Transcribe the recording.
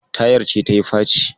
Tayar ce tayi faci.